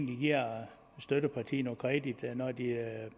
giver støttepartiet noget kredit når de